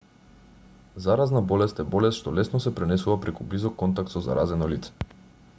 заразна болест е болест што лесно се пренесува преку близок контакт со заразено лице